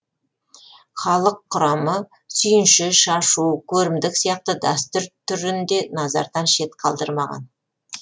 халық құрамы сүйінші шашу көрімдік сияқты дәстүр түрін де назардан шет қалдырмаған